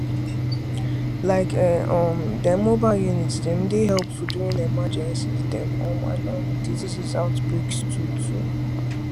like[um][um] dem mobile units dem dey helpful during emergencies dem um and um disease outbreaks too to